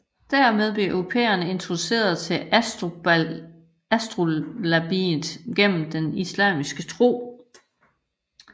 Dermed blev europæerne introduceret til astrolabiet gennem den islamiske tro